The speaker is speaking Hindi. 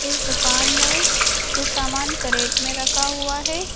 इस दुकान में कुछ सामान कैरेट में रखा हुआ है।